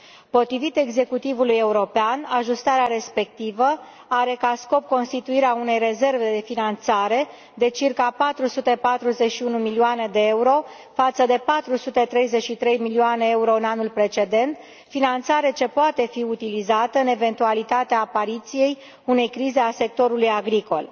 Potrivit executivului european, ajustarea respectivă are ca scop constituirea unei rezerve de finanțare de circa 441 de milioane de euro față de 433 de milioane euro în anul precedent, finanțare ce poate fi utilizată în eventualitatea apariției unei crize a sectorului agricol.